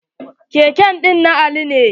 Keke ɗin na Ali ne.